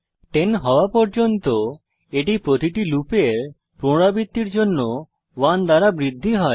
10 হওয়া পর্যন্ত এটি প্রতিটি লুপের পুনরাবৃত্তির জন্য 1 দ্বারা বৃদ্ধি হয়